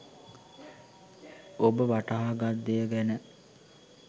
ඔබ වටහා ගත් දෙය ගැන